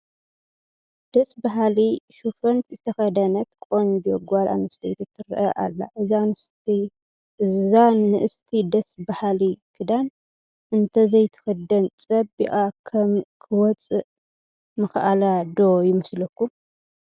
ደስ በሃሊ ሹፈን ዝተኸደነት ቆንጆ ጓል ኣነስተይቲ ትርአ ኣላ፡፡ እዛ ንእስቲ ደስ በሃሊ ክዳን እንተዘይትኽደን ፅባቐኣ ክወፅእ ምኸኣለ ዶ ይመስለኩም?